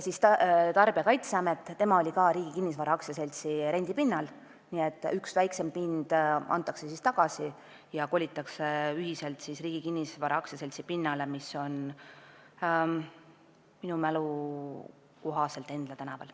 Tarbijakaitseamet oli Riigi Kinnisvara AS-i rendipinnal, nii et üks väiksem pind antakse tagasi ja kolitakse ühiselt Riigi Kinnisvara AS-i pinnale, mis asub minu mälu kohaselt Endla tänaval.